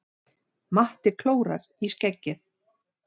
Matti klórar í skeggið.